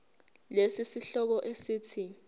lesi sihloko esithi